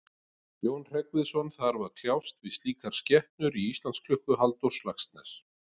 Jón Hreggviðsson þarf að kljást við slíkar skepnur í Íslandsklukku Halldórs Laxness.